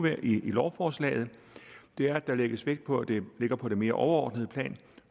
i lovforslaget er at der lægges vægt på at det ligger på det mere overordnede plan